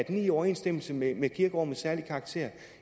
i overensstemmelse med med kirkerummets særlige karakter